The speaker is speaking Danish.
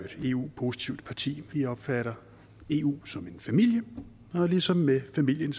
eu positivt parti vi opfatter eu som en familie og ligesom med familien